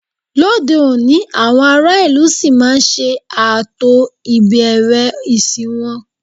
Lóde òní, àwọn aráàlú ṣì máa ń ṣe ààtò ìbẹ̀rẹ̀ ìsìn wọn